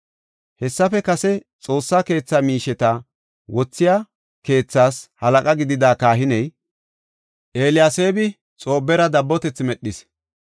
Hessafe kase Xoossa keetha miisheta wothiya keethaas halaqa gidida kahiney, Eliyaseebi Xoobara dabbotethi medhis.